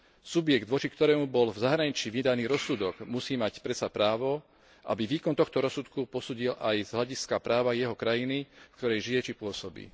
Subjekt, voči ktorému bol v zahraničí vydaný rozsudok, musí mať predsa právo, aby výkon tohto rozsudku posúdil aj z hľadiska práva jeho krajiny, v ktorej žije či pôsobí.